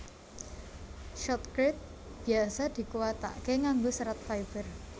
Shotcrete biasa dikuwataké nganggo serat fiber